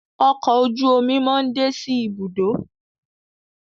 Ọkọ̀ ojú-omi món dé sí Ibùdó.